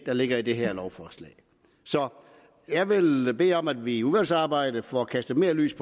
der ligger i det her lovforslag så jeg vil bede om at vi i udvalgsarbejdet får kastet mere lys